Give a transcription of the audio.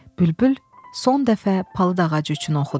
Bülbül son dəfə palıd ağacı üçün oxudu.